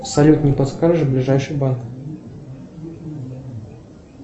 салют не подскажешь ближайший банк